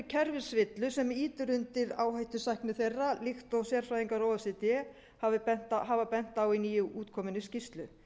kerfisvillur sem ýtir undir áhættusækni þeirra líkt og sérfræðingar o e c d hafa bent á í nýútkominni skýrslu